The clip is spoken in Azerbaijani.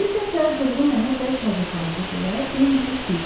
Bir dəfə qırğı mənə bərk acıqlandı deyə Bimbi bildirdi.